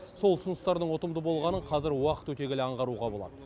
сол ұсыныстардың ұтымды болғанын қазір уақыт өте келе аңғаруға болады